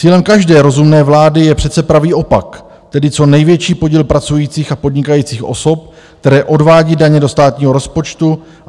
Cílem každé rozumné vlády je přece pravý opak, tedy co největší podíl pracujících a podnikajících osob, které odvádí daně do státního rozpočtu.